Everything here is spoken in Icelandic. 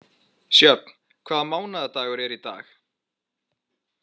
Sjöfn, hvaða mánaðardagur er í dag?